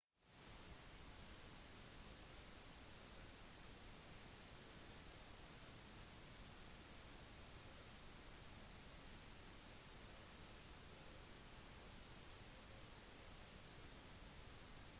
mens i andre verdensdeler der du ikke er vandt med bakteriefloraen er sjansene større for at du vil oppleve problemer